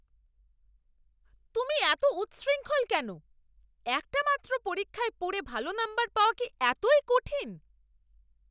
তুমি এত উচ্ছৃঙ্খল কেন? একটা মাত্র পরীক্ষায় পড়ে ভালো নম্বর পাওয়া কি এতই কঠিন?